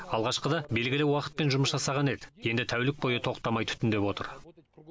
алғашқыда белгілі уақытпен жұмыс жасаған еді енді тәулік бойы тоқтамай түтіндетіп отыр